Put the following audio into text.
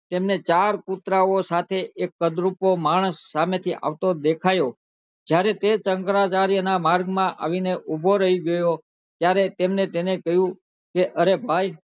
તેમને ચાર કુતરા સાથે એક કદરૂપો માણસ સામે થી આવતો દેખાયો જયારે તે શંકરાચાર્ય ના માર્ગ માં માં આવી ને ઉભો રહી ગયો ત્યરે તમને તને કહ્યું